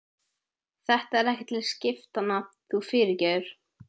Þetta er ekki til skiptanna, þú fyrirgefur.